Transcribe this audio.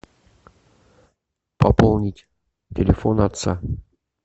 пополнить телефон отца